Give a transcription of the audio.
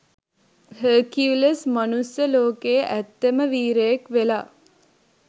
Hercules මනුස්ස ලෝකේ ඇත්තම වීරයෙක් වෙලා